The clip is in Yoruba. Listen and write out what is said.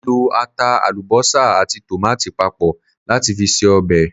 Mo lọ ata, àlùbọ́sà àti tòmáàtì papọ̀ láti fi ṣe ọbẹ̀.